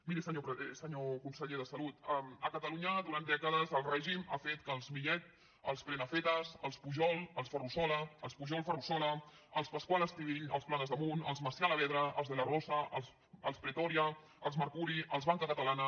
miri senyor conseller de salut a catalunya durant dècades el règim ha fet que els millet els prenafeta els pujol els ferrusola els pujol ferrusola els pascual estivill els planasdemunt els macià alavedra els de la rosa els pretòria els mercuri els banca catalana